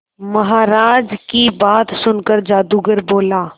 महाराज की बात सुनकर जादूगर बोला